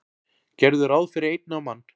Gerðu ráð fyrir einni á mann.